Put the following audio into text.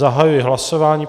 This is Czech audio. Zahajuji hlasování.